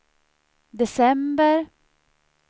december